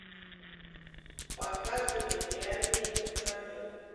показывай реальные пацаны